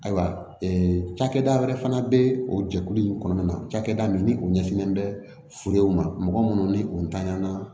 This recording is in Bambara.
Ayiwa cakɛda wɛrɛ fana be o jɛkulu in kɔnɔna na cakɛda min ni u ɲɛsinnen bɛ furu ma mɔgɔ munnu ni u tanɲa na